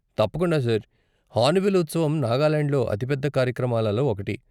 తప్పకుండా, sir! Hornbill ఉత్సవం నాగాలాండ్లో అతి పెద్ద కార్యక్రమాలలో ఒకటి.